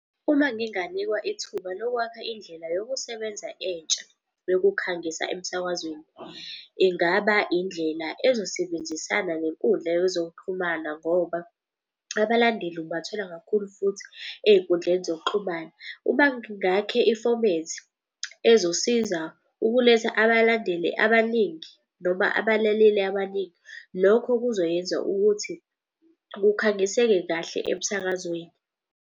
Uma nginganikwa ithuba lokwakha indlela yokusebenza entsha yokukhangisa emsakazweni. Ingaba indlela ezosebenzisana nenkundla yezokuxhumana ngoba abalandeli ukubathola kakhulu futhi ey'nkundleni zokuxhumana. Ngakhe ifomethi ezosiza ukuletha abalandeli abaningi noma abalaleli abaningi. Lokho kuzoyenza ukuthi kukhangiseke kahle emsakazweni.